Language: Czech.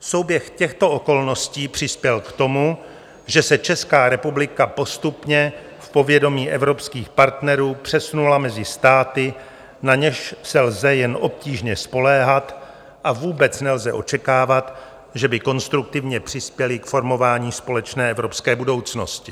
Souběh těchto okolností přispěl k tomu, že se Česká republika postupně v povědomí evropských partnerů přesunula mezi státy, na něž se lze jen obtížně spoléhat, a vůbec nelze očekávat, že by konstruktivně přispěly k formování společné evropské budoucnosti.